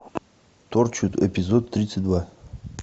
торчвуд эпизод тридцать два